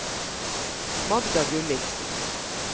Magda Gulliksen